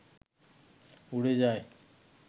উড়ে যাই